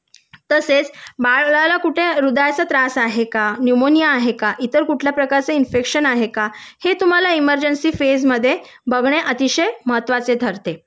तसेच बाळाला कुठे हृदयाचा त्रास आहे का निमोनिया आहे का इतर कुठल्या प्रकारचे इन्फेक्शन आहे का हे तुम्हाला इमर्जन्सी फेजमध्ये बघणे अतिशय महत्त्वाचे ठरते